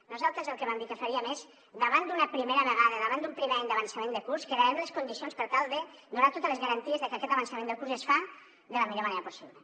nosaltres el que vam dir que faríem és davant d’una primera vegada davant d’un primer any d’avançament de curs crearem les condicions per tal de donar totes les garanties de que aquest avançament de curs es fa de la millor manera possible